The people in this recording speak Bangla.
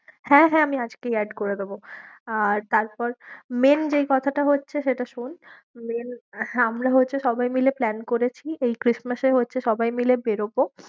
হ্যাঁ, হ্যাঁ আমি আজকেই add করে দেবো আর তারপর main যেই কথাটা হচ্ছে সেটা শোন main হ্যাঁ, আমরা হচ্ছে সবাই মিলে plan করেছি, এই Christmas এ হচ্ছে সবাই মিলে বেরোবো।